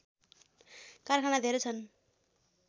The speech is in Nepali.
कारखाना धेरै छन्